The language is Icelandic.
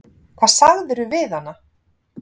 Hvað sagðirðu við hana?